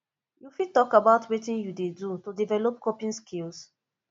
you fit talk about wetin you dey do to develop coping skills